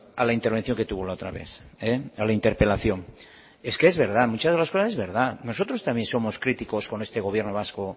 a la intervención que tuvo la otra vez a la interpelación es que es verdad muchas de las cosas es verdad nosotros también somos críticos con este gobierno vasco